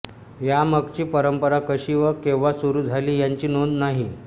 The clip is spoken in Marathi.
यामागची परंपरा कशी व केव्हा सुरू झाली याची नोंद नाही